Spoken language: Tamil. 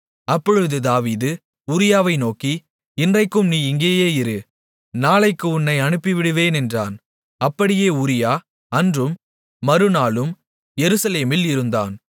அப்பொழுது தாவீது உரியாவை நோக்கி இன்றைக்கும் நீ இங்கேயே இரு நாளைக்கு உன்னை அனுப்பிவிடுவேன் என்றான் அப்படியே உரியா அன்றும் மறுநாளும் எருசலேமில் இருந்தான்